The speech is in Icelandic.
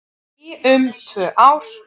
Í um tvö ár